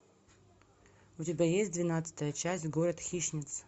у тебя есть двенадцатая часть город хищниц